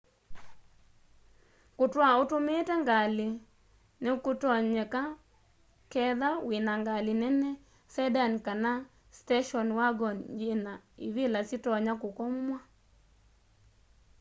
kũtũa ũtũmĩĩte ngalĩ nĩkũtonyeka ketha wĩna ngalĩ nene sedan kana station wagon yĩna ĩvĩla syĩtonya kũkomwa